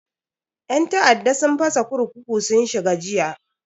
Yan ta'adda sun fasa kurkuku sun shiga jiya.